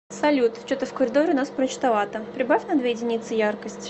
салют че то в коридоре у нас мрачновато прибавь на две единицы яркость